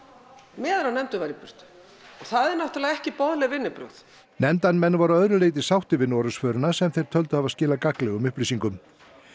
meðan nefndin var í burtu og það eru náttúrlega ekki boðleg vinnubrögð nefndarmenn voru að öðru leyti sáttir við Noregsförina sem þeir töldu hafa skilað gagnlegum upplýsingum